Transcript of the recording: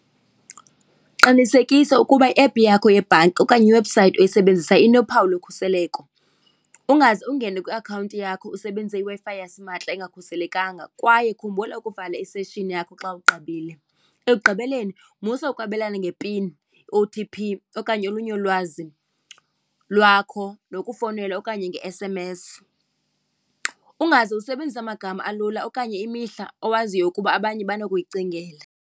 Qinisekisa ukuba iephu yakho yebhanki okanye iwebhusayithi oyisebenzisa inophawu lokhuseleko. Ungaze ungene kwiakhawunti yakho usebenzise iWi-Fi yasimahla engakhuselekanga kwaye khumbula ukuvala iseshini yakho xa ugqibile. Ekugqibeleni musa ukwabelana ngepini, O_T_P okanye olunye ulwazi lwakho nokufowunela okanye nge-S_M_S. Ungaze usebenzise amagama alula okanye imihla owaziyo ukuba abanye banokuyicingela.